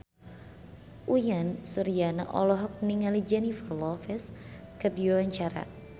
Uyan Suryana olohok ningali Jennifer Lopez keur diwawancara